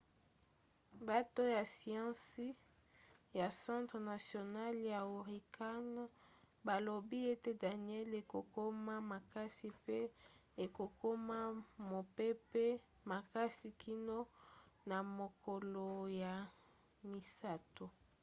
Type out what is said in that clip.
bato ya siansi ya centre national ya hurricane balobi ete danielle ekokoma makasi mpe ekokoma mopepe makasi kino na mokolo ya misato